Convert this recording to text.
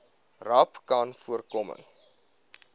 rapcanvoorkoming